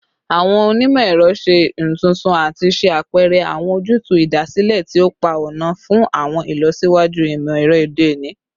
Awọn onimọ-ẹrọ ṣe intuntun ati ṣe apẹrẹ awọn ojutu idasile ti o pa ọna fun awọn ilọsiwaju imọ-ẹrọ ode oni